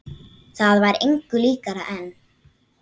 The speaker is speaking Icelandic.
Það var engu líkara en